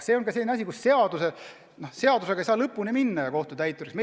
See on ka selline olukord, kus seaduse täitmist ei saa tagada ka kohtutäitur.